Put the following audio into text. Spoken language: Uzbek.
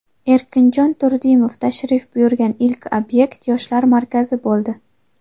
Erkinjon Turdimov tashrif buyurgan ilk obyekt Yoshlar markazi bo‘ldi.